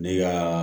Ne ka